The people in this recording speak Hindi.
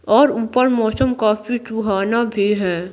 और ऊपर मौसम काफी सुहाना भी है।